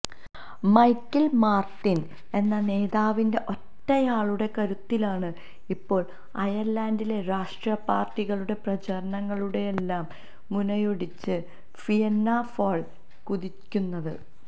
Michael Martin എന്ന നേതാവിന്റെ ഒറ്റയാളുടെ കരുത്തിലാണ് ഇപ്പോൾ അയർലൻഡിലെ രാഷ്ട്രീയ പാർട്ടികളുടെ പ്രചാരണങ്ങളുടെയെല്ലാം മുനയൊടിച്ച്് ഫിയന്നാ ഫാൾ കുതിക്കുന്നത്